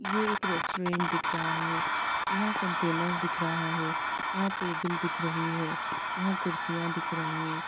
ये एक रेस्टोरेंट दिख रहा है यहाँ कंटेनर दिख रहा है यहाँ टेबल दिख रहें हैं यहाँ कुर्सियाँ दिख रहीं हैं।